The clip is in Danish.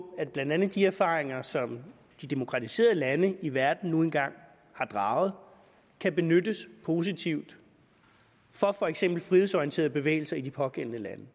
at blandt andet de erfaringer som de demokratiserede lande i verden nu engang har draget kan benyttes positivt af for eksempel frihedsorienterede bevægelser i de pågældende lande